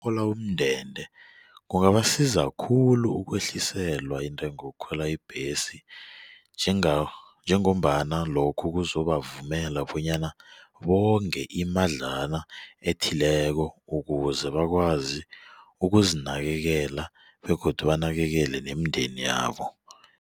umndende kungabasiza khulu ukwehliselwa intengo yokukhwela ibhesi njengombana lokhu kuzobavumela bonyana bonge imadlana ethileko ukuze bakwazi ukuzinakelela begodu banakekele nemindeni yabo.